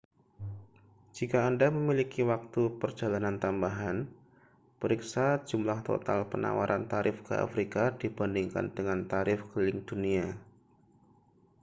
jika anda memiliki waktu perjalanan tambahan periksa jumlah total penawaran tarif ke afrika dibandingkan dengan tarif keliling dunia